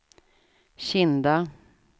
Kinda